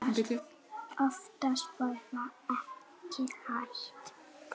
Oftast var það ekki hægt.